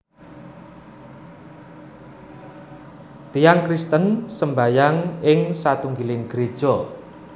Tiyang Kristen sembahyang ing satunggiling greja